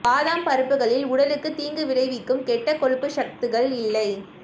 பாதாம் பருப்புகளில் உடலுக்கு தீங்கு விளைவிக்கும் கெட்ட கொழுப்பு சத்துக்கள் இல்லை